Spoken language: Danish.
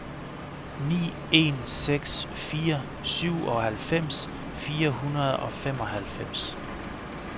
ni en seks fire syvoghalvfems fire hundrede og femoghalvfems